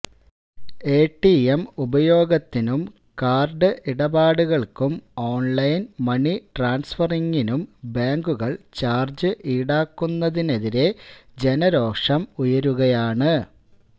ATM ഉപയോഗത്തിനും card ഇടപാടുകള്ക്കും online money ട്രാന്സഫറിങ്ങിനും ബാങ്കുകള് ചാര്ജ് ഈടാക്കുന്നതിനെതിരേ ജനരോഷം ഉയരുകയാണ്